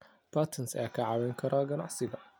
Patents ayaa kaa caawin kara ganacsiga.